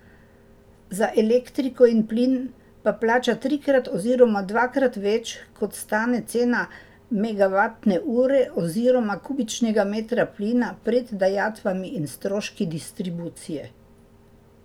Za elektriko in plin pa plača trikrat oziroma dvakrat več, kot stane cena megavatne ure oziroma kubičnega metra plina pred dajatvami in stroški distribucije.